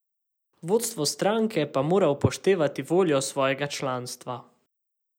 Vodstvo stranke pa mora upoštevati voljo svojega članstva.